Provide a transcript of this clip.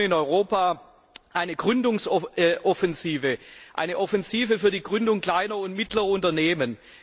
Wir brauchen in Europa eine Gründungsoffensive, eine Offensive für die Gründung kleiner und mittlerer Unternehmen.